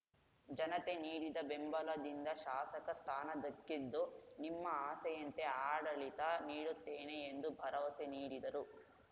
ಜನತೆ ನೀಡಿದ ಬೆಂಬಲದಿಂದ ಶಾಸಕ ಸ್ಥಾನ ದಕ್ಕಿದ್ದು ನಿಮ್ಮ ಆಸೆಯಂತೆ ಆಡಳಿತ ನೀಡುತ್ತೇನೆ ಎಂದು ಭರವಸೆ ನೀಡಿದರು